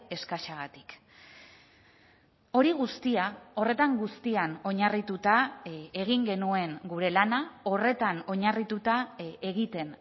eskasagatik hori guztia horretan guztian oinarrituta egin genuen gure lana horretan oinarrituta egiten